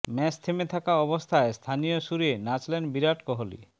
match থেমে থাকা অবস্থায় স্থানীয় সুরে নাচলেন বিরাট কোহলি